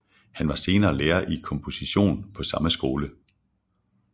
Han var senere lærer i komposition på samme skole